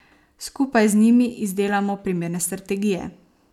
Skupaj z njimi izdelamo primerne strategije.